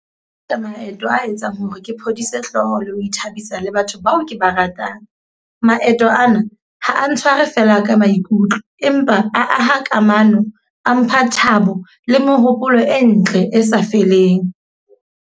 Ka maeto a etsang hore ke phodise hlooho le ho ithabisa le batho bao ke ba ratang. Maeto ana, ha a ntshware fela ka maikutlo. Empa a aha kamano, a mpha thabo le mohopolo e ntle e sa feleng.